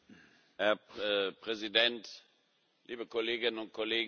Herr Präsident! Liebe Kolleginnen und Kollegen!